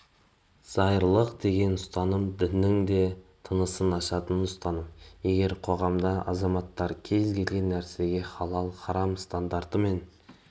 зайырлылық деген ұстаным діннің де тынысын ашатын ұстаным егер қоғамда азаматтар кез келген нәрсеге халал-харам стандартымен